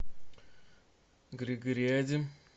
григориади